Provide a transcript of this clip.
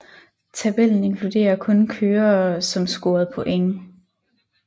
Tabellen inkluderer kun kørere som scorede point